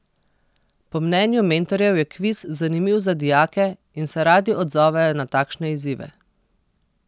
Po mnenju mentorjev je kviz zanimiv za dijake in se radi odzovejo na takšne izzive.